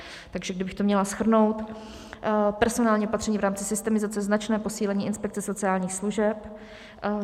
Takže kdybych to měla shrnout: Personální opatření, v rámci systemizace značné posílení inspekce sociálních služeb.